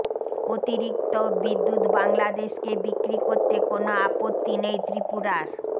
অতিরিক্ত বিদ্যুৎ বাংলাদেশকে বিক্রি করতে কোন অপত্তি নেই ত্রিপুরার